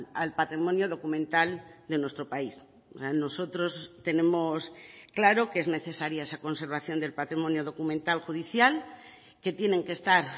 al patrimonio documental de nuestro país nosotros tenemos claro que es necesaria esa conservación del patrimonio documental judicial que tienen que estar